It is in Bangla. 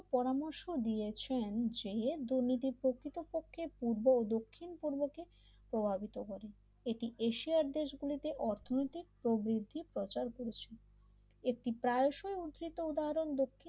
পরামর্শ দিয়েছেন যে দুর্নীতি প্রকৃতপক্ষে পূর্ব দক্ষিণ পূর্ব কে প্রভাবিত করে এটি এশিয়ার দেশ গুলিতে অর্থনৈতিক প্রবৃত্তি প্রচার করেছে এটি প্রায়শই উদ্ধৃত উদাহরণ দক্ষিণ